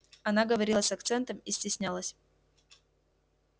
она говорила с акцентом и стеснялась